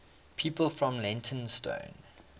people from leytonstone